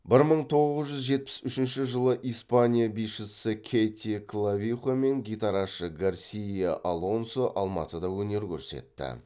бір мың тоғыз жүз жетпіс үшінші жылы испания бишісі кэти клавихо мен гитарашы гарсия алонсо алматыда өнер көрсетті